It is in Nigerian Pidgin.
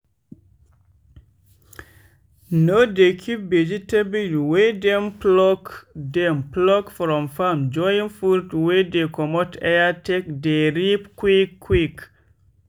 no dey keep vegetable wey dem pluck dem pluck from farm join fruit wey dey comot air take dey rip quick quick.